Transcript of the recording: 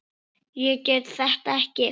Ég get þetta ekki.